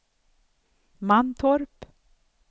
Mantorp